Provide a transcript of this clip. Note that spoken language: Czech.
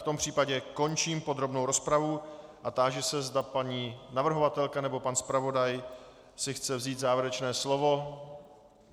V tom případě končím podrobnou rozpravu a táži se, zda paní navrhovatelka nebo pan zpravodaj si chce vzít závěrečné slovo.